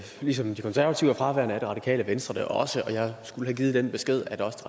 ligesom de konservative er fraværende er det radikale venstre det også og jeg skulle have givet den besked at også